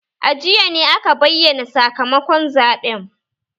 A jiya ne aka bayyana sakamakon zaɓen